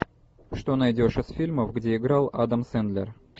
что найдешь из фильмов где играл адам сэндлер